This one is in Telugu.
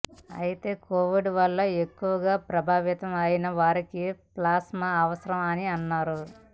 అయితే కోవిడ్ వలన ఎక్కువగా ప్రభావితం అయిన వారికి ప్లాస్మా అవసరం అని అన్నారు